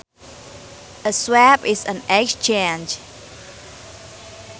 A swap is an exchange